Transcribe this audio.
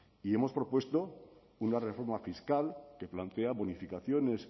y hemos propuesto una reforma fiscal que plantea modificaciones